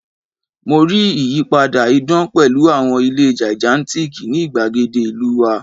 Mo rii iyipada idan pẹlu awọn ile gigantic ni igbagede ilu wa